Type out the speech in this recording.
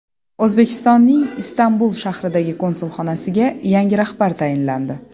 O‘zbekistonning Istanbul shahridagi konsulxonasiga yangi rahbar tayinlandi.